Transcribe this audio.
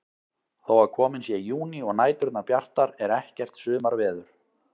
Þó að kominn sé júní og næturnar bjartar er ekkert sumarveður.